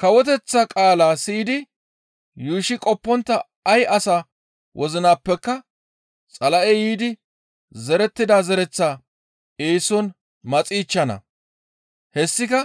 Kawoteththa qaala siyidi yuushshi qoppontta ay asa wozinappeka Xala7ey yiidi zerettida zereththaa eeson maxichchana. Hessika